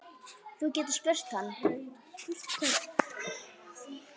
Þú getur spurt hann.